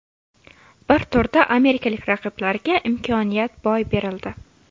Bir turda amerikalik raqiblarga imkoniyat boy berildi.